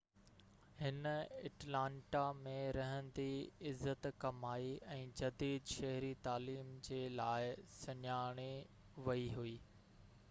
هن اٽلانٽا ۾ رهندي عزت ڪمائي ۽ جديد شهري تعليم جي لاءِ سڃاتي ويئي هئي